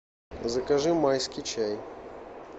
закажи майский чай